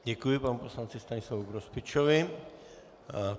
Děkuji panu poslanci Stanislavu Grospičovi.